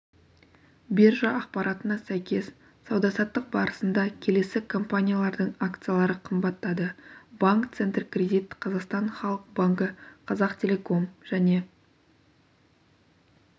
биржа ақпаратына сәйкес сауда-саттық барысында келесі компаниялардың акциялары қымбаттады банк центркредит қазақстан халық банкі қазақтелеком және